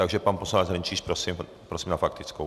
Takže pan poslanec Hrnčíř, prosím na faktickou.